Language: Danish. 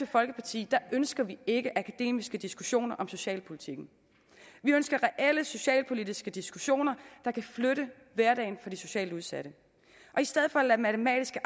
folkeparti ønsker vi ikke akademiske diskussioner om socialpolitikken vi ønsker reelle socialpolitiske diskussioner der kan flytte hverdagen for de socialt udsatte i stedet for at lade matematiske